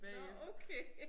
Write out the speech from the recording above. Nåh okay